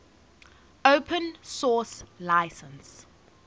open source license